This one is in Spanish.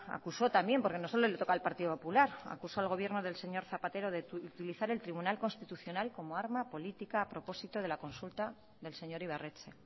acusó también porque no solo le toca al partido popular acusó al gobierno del señor zapatero de utilizar el tribunal constitucional como arma política a propósito de la consulta del señor ibarretxe